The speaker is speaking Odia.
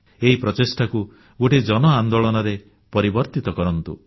ଏହି ପ୍ରଚେଷ୍ଟାକୁ ଗୋଟିଏ ଜନ ଆନ୍ଦୋଳନରେ ପରିବର୍ତ୍ତିତ କରନ୍ତୁ